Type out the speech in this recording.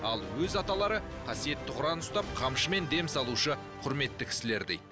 ал өз аталары қасиетті құран ұстап қамшымен дем салушы құрметті кісілер дейді